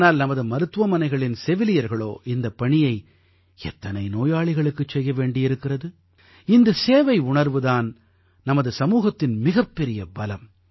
ஆனால் நமது மருத்துவமனைகளின் செவிலியர்களோ இந்தப் பணியை எத்தனை நோயாளிகளுக்குச் செய்ய வேண்டியிருக்கிறது இந்தச் சேவையுணர்வு தான் நமது சமூகத்தின் மிகப்பெரிய பலம்